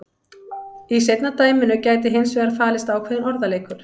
Í seinna dæminu gæti hins vegar falist ákveðinn orðaleikur.